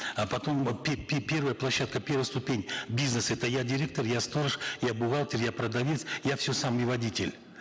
а потом первая площадка первая ступень бизнеса это я директор я сторож я бухгалтер я продавец я все сам и водитель